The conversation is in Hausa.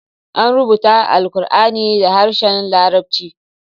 An rubuta Alqur'ani da harshen Larabci.